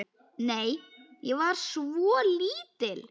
Nei, ég var svo lítil.